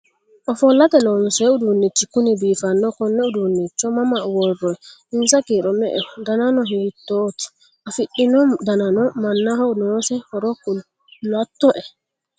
Ofollate loonsoyi uduunichi kuni biifanno? Konne uduunnicho mama worroyi? Insa kiiro me'eho? Danano hiittoti? Afidhino dananna mannaho noose horo kulatto'e?